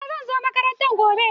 Eh zan zo makaranta gobe.